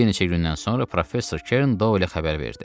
Bir neçə gündən sonra professor Kern Doylə xəbər verdi.